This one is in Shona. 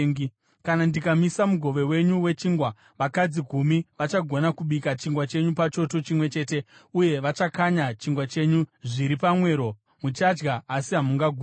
Kana ndikamisa mugove wenyu wechingwa, vakadzi gumi vachagona kubika chingwa chenyu pachoto chimwe chete, uye vachakanya chingwa chenyu zviri pamwero. Muchadya, asi hamungaguti.